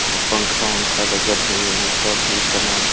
पंखा ऊंखा लगल हे एने सब हे समान--